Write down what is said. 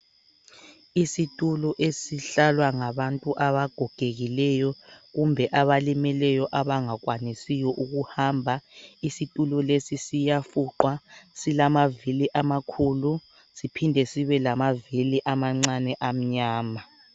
Isitulo esihlalwa ngabantu abagogekileyo kumbe abalimeleyo abangakwanisi ukuhamba. Isitulo lesi siyafuqwa silamavili amakhulu siphinde sibe lamavili amancane amnyama.